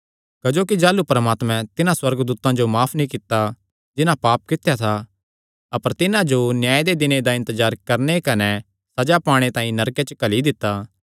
क्जोकि जाह़लू परमात्मैं तिन्हां सुअर्गदूतां जो भी माफ नीं कित्ता जिन्हां पाप कित्या था अपर तिन्हां जो न्याय दे दिने दा इन्तजार करणे कने सज़ा पाणे तांई नरके च घल्ली दित्ता